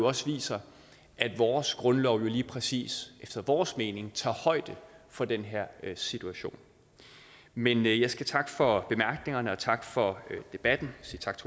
også viser at vores grundlov jo lige præcis efter vores mening tager højde for den her situation men jeg skal takke for bemærkningerne og takke for debatten